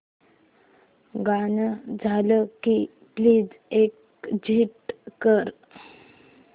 गाणं झालं की प्लीज एग्झिट कर